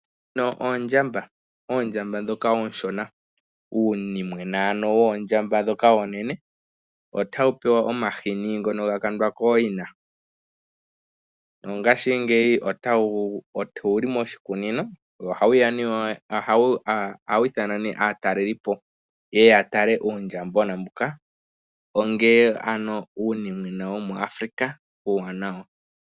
Ndhino oondjamba. Oondjamba ndhoka oonshona, uunimwena ano woondjamba ndhoka oonene. Otawu pewa omahini ngono ga kwandwa kooyina. Nongashingeyi owu li moshikunino nohawu ithana nee aatalelipo ye ye ya tale uundjambona mbuka onga ano uunimwena womoAfrika uuwanawa.